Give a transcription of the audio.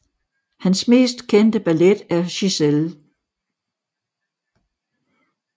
Hans mest kendte ballet er Giselle